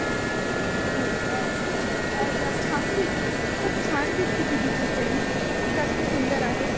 हो का खूप छान खूप छान दिसते तुझी friend खूप जास्त सुन्दर आहे.